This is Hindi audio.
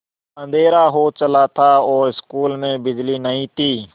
अँधेरा हो चला था और स्कूल में बिजली नहीं थी